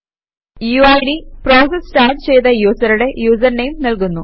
UID process start ചെയ്ത യൂസറുടെ user name നല്കുന്നു